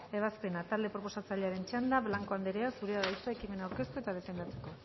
ebazpena talde proposatzailearen txanda blanco andrea zurea da hitza ekimena aurkeztu eta defendatzeko